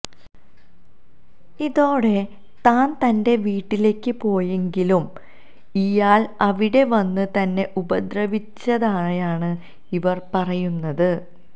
ഇതോടെ താൻ തന്റെ വീട്ടിലേക്ക് പോയെങ്കിലും ഇയാൾ അവിടെ വന്ന് തന്നെ ഉപദ്രവിച്ചതായാണ് ഇവർ പറയുന്നത്